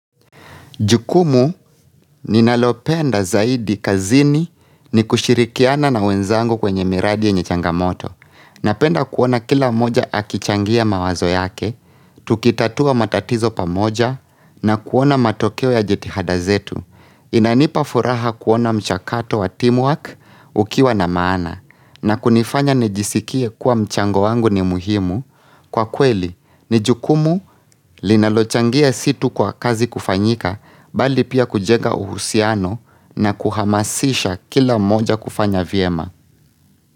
Jukumu ninalopenda zaidi kazini ni kushirikiana na wenzangu kwenye miradi yenye changamoto. Napenda kuona kila moja akichangia mawazo yake, tukitatua matatizo pamoja na kuona matokeo ya jitihada zetu. Inanipa furaha kuona mchakato wa teamwork ukiwa na maana. Na kunifanya nijisikie kuwa mchango wangu ni muhimu. Kwa kweli, ni jukumu linalochangia si tu kwa kazi kufanyika bali pia kujega uhusiano na kuhamasisha kila moja kufanya vyema.